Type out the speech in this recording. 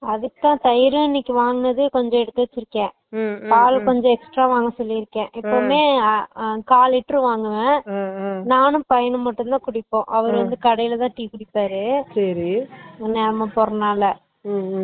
மாட்டு பால் வாங்கதா சொல்லிருகன் அப்போ ஆடை அதுக்கு இனைக்கு தயிர் வாங்குனதா கொஞ்சோ எடுத்து வெச்சுருகன் Noise பால் கொஞ்சோ extra வாங்க சொல்லிருகன்